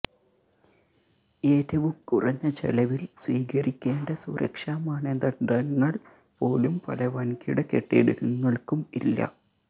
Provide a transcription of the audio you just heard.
ഏറ്റവും കുറഞ്ഞ ചെലവില് സ്വീകരിക്കേണ്ട സുരക്ഷാ മാനദണ്ഡങ്ങള് പോലും പല വന്കിട കെട്ടിടങ്ങള്ക്കും ഇല്ല